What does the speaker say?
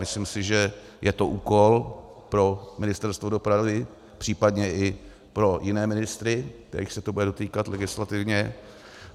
Myslím si, že to je úkol pro Ministerstvo dopravy, případně i pro jiné ministry, kterých se to bude dotýkat legislativně.